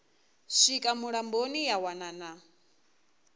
swika mulamboni ya wana na